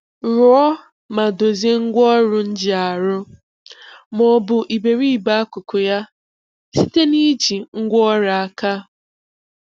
Rụọ ma dozie ngwaọrụ njìarụ, ma ọ bụ iberibe akụkụ ya, site n'iji ngwaọrụ aka.